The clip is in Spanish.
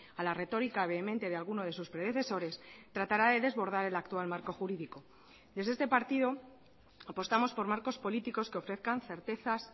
a la retórica vehemente de alguno de sus predecesores tratará de desbordar el actual marco jurídico desde este partido apostamos por marcos políticos que ofrezcan certezas